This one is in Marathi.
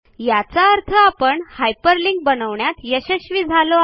याचा अर्थ आपण हायपरलिंक बनवण्यात यशस्वी झालो आहोत